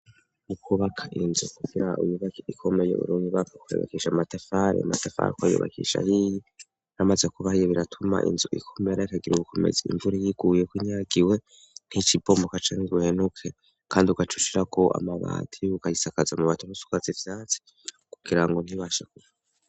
Ukubaka inzu kukra ububaki ikomeye urunibaka kuyubakisha amatafari matafari ko ayubakisha yiyi ramaze kubaha iyo biratuma inzu ikomeyarakagira ubukomezi imvura yiguyeko inyagiwe nk'icibombuka canzuhenuke, kandi ugacucira ko amabati y'uko ayisakaza mu batarosukazi vyatsi kugira ngo ntibashe kuva.